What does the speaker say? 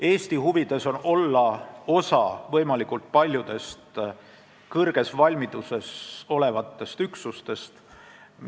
Eesti huvides on olla osa võimalikult paljudest kõrges valmiduses olevatest üksustest.